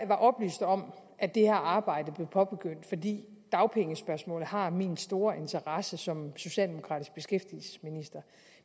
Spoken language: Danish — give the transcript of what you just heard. oplyst om at det her arbejde blev påbegyndt fordi dagpengespørgsmålet har min store interesse som socialdemokratisk beskæftigelsesminister